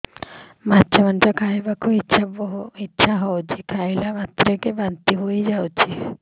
ମାଛ ମାଂସ ଖାଇ ବାକୁ ଇଚ୍ଛା ହଉଛି ଖାଇଲା ମାତ୍ରକେ ବାନ୍ତି ହେଇଯାଉଛି